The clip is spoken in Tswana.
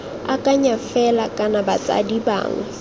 akanya fela kana batsadi bangwe